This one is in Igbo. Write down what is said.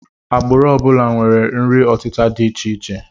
Agbụrụ ọ bụla nwere nri ọtịta dị icheiche